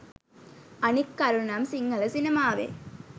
අනික් කරුණ නම් සිංහල සිනමාවේ